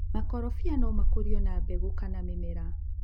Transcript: Makorofia no makũrio na mbegũ kana nĩmera.